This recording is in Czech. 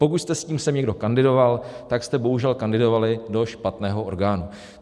Pokud jste s tím sem někdo kandidoval, tak jste bohužel kandidovali do špatného orgánu.